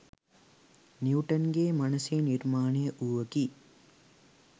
Newton ගේ මනසේ නිර්මාණය වූවකි.